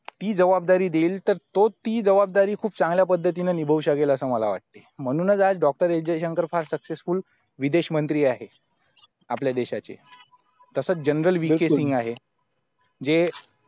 ती जबाबदारी देईल तर तो ती जबाबदारी खूप चांगल्या पद्धतीने निभावू शकल असं मला वाटतं म्हणूनच आज doctor एस जयशंकर फार successfully विदेशमंत्री आहेत आपल्या देशाचे तसाच जे